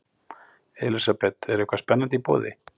Elísabet, er eitthvað spennandi í boði?